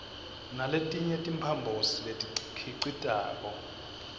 naletinye timphambosi letikhicitako